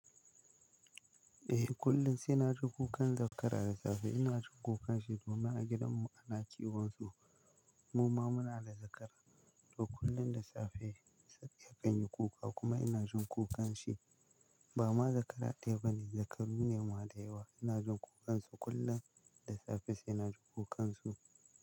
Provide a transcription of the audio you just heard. Eh kullum sai na ji kukan zakara da safe. Ina jin kukanshi domin a gidanmu ana kiwon su. Muma muna da zakara, to kullum da safe sabiya kan yi kuka kuma ina jin kukanshi. Bama zakara ɗaya bane, zakaru ne ma da yawa. Ina jin kukansu kullum da safe sai na ji kukansu.